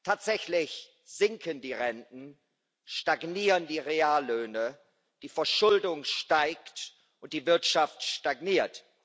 Tatsächlich sinken die Renten, stagnieren die Reallöhne, die Verschuldung steigt und die Wirtschaft stagniert.